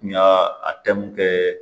N y'a kɛ